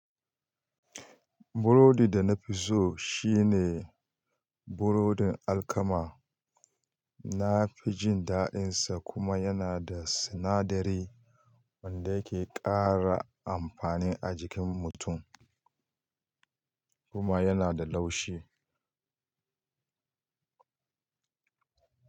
Burodi da na fi so shine burodin alkama. Na fi jin daɗinsa kuma yana da sinadari wanda yake ƙara amfani a jikin mutum kuma yana da laushi.